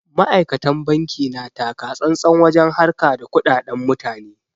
Ma'aikatan banki na takatsantsan wajen harka da kuɗaɗan mutane.